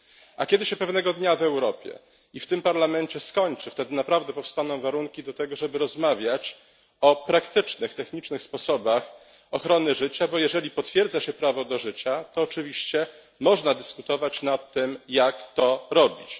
A kiedy się pewnego dnia w Europie i w tym Parlamencie skończy, wtedy naprawdę powstaną warunki do tego, żeby rozmawiać o praktycznych, technicznych sposobach ochrony życia, bo jeżeli potwierdza się prawo do życia, to oczywiście można dyskutować nad tym, jak to robić.